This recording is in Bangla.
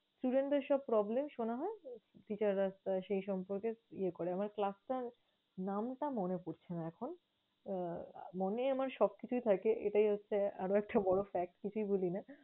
Student দের সব problem শোনা হয়, teacher রা সেই সম্পর্কে ইয়ে করে আমার class টা নামটা মনে পরছে না এখন। আহ মনে আমার সবকিছুই থাকে, এটাই হচ্ছে আরও একটা বড় fact । কিছুই ভুলি না